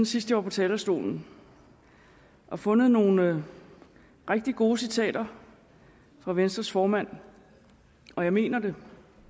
sidst var på talerstolen og fundet nogle rigtig gode citater fra venstres formand og jeg mener det